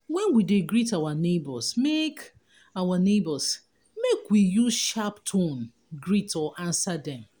when we de greet our neighbours make our neighbours make we use sharp tone greet or answer dem